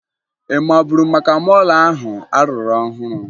Ị maburu maka mọọlụ ahụ a rụrụ ọhụrụ?